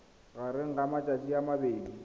magareng ga matsatsi a mabedi